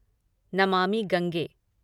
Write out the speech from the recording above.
Namami Gange